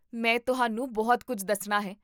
ਮੈਂ ਤੁਹਾਨੂੰ ਬਹੁਤ ਕੁੱਝ ਦੱਸਣਾ ਹੈ